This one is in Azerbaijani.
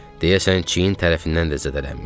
Deyəsən çiyin tərəfindən də zədələnmişdi.